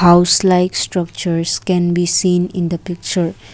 house like structures can be seen in the picture.